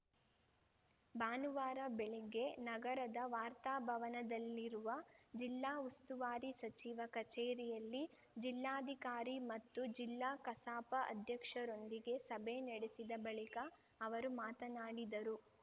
ಭಾನುವಾರ ಬೆಳಿಗ್ಗೆ ನಗರದ ವಾರ್ತಾಭವನದಲ್ಲಿರುವ ಜಿಲ್ಲಾ ಉಸ್ತುವಾರಿ ಸಚಿವ ಕಚೇರಿಯಲ್ಲಿ ಜಿಲ್ಲಾಧಿಕಾರಿ ಮತ್ತು ಜಿಲ್ಲಾ ಕಸಾಪ ಅಧ್ಯಕ್ಷರೊಂದಿಗೆ ಸಭೆ ನಡೆಸಿದ ಬಳಿಕ ಅವರು ಮಾತನಾಡಿದರು